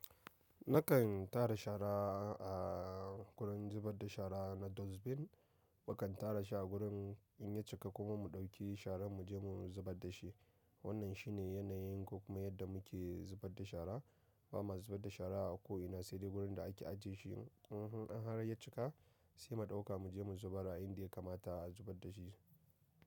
Nakan tara shara a gurin zubar da shara na dustbin. Mukan tara shi a gurin in ya cika kuma mu ɗauki shara mu je mu zubar da shi. Wannan shi ne yanayin ko kuma yadda muke zubar da shara. Ba ma zubar da shara a ko ina sai dai wurin da ake ajiye shi. In har ya cika sai mu ɗauka mu je mu zubar a indiya ya kamata a zubar da shi.